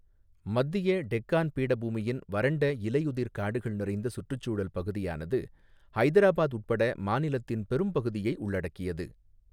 மத்திய டெக்காண் பீடபூமியின் வறண்ட இலையுதிர் காடுகள் நிறைந்த சுற்றுச்சூழல் பகுதியானது ஹைதராபாத் உட்பட மாநிலத்தின் பெரும்பகுதியை உள்ளடக்கியது.